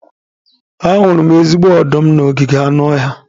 Ahụrụ m ezigbo ọdụm n'ogige anụ ọhịa.